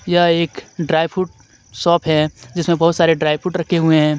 यह एक dry fruit shop है जिसमे बहुत सारे ड्राई फ्रूट रखे हुए है.